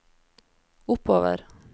oppover